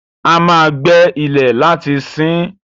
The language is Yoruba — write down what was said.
A ma gbé ilẹ̀ láti siín.